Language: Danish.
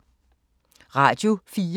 Radio 4